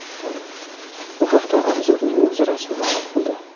Bu haqda Anzurning o‘zi rasman ma’lum qildi .